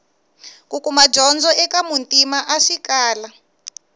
kukuma dyondzo eka muntima a swi kala